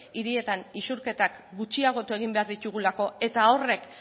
hirietan isurketak gutxiagotu egin behar ditugulako eta horrek